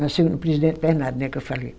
Nasceu no presidente Bernardo, né, que eu falei.